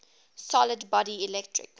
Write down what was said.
solid body electric